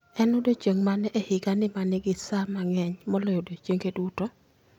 En odiechieng ' mane e higani ma ni gi sa mang'eny moloyo odiechienge duto?